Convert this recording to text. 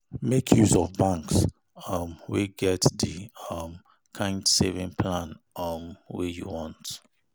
Make use of banks um wey get the um kind saving plan um wey you want